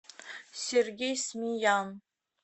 сергей смеян